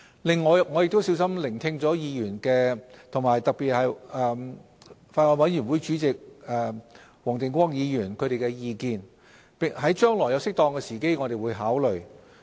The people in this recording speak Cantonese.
另外，我亦小心聆聽了議員的意見，特別是法案委員會主席黃定光議員的意見，將來於適當的時機我們會作考慮。